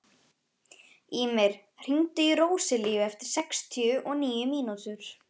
Ýmir, hringdu í Róselíu eftir sextíu og níu mínútur.